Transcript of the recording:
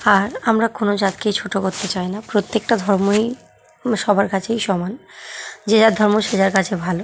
আর আমরা কোন জাতকে ছোট করতে চাই না প্রত্যেকটা ধর্মই সবার কাছেই সমান যে যার ধর্ম সে যার কাছে ভালো।